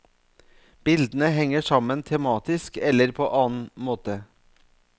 Bildene henger sammen tematisk eller på annen måte.